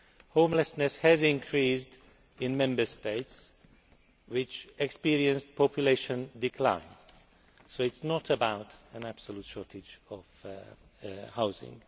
Homelessness has increased in Member States which experience population decline, so it is not about an absolute shortage of housing.